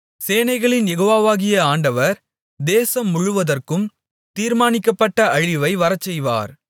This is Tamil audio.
சேனைகளின் யெகோவாவாகிய ஆண்டவர் தேசம் முழுவதற்கும் தீர்மானிக்கப்பட்ட அழிவை வரச்செய்வார்